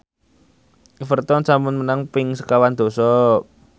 Everton sampun menang ping sekawan dasa